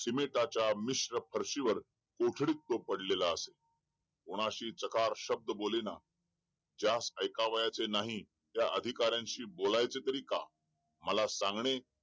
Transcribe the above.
सिमेंटच्या मिश्र भरशीवर कोठडीत तो पडलेला असे कोणाशी चकार शब्द बोले ना ज्यास ऐकाव्याचे नाही त्या अधिकारांशी बोलायचे का मला सांगणे